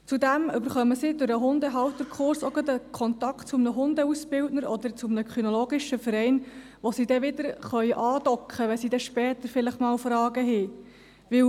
Zudem erhalten Sie durch den Hundehalterkurs auch gerade einen Kontakt zu einem Hundeausbildner oder zu einem kinologischen Verein, wo sie dann wieder andocken können, wenn sie später vielleicht wieder Fragen haben.